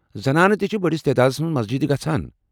زنانہٕ تہ چھےٚ بٔڑس تعدادس منٛز مسجِدِ گژھان۔